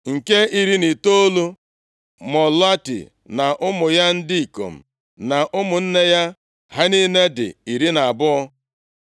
Nke iri na itoolu, Maloti na ụmụ ya ndị ikom na ụmụnne ya. Ha niile dị iri na abụọ (12).